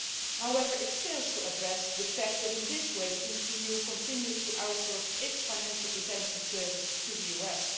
However, it fails to address the fact that in this way, the EU continues to outsource its financial intelligence service to the US.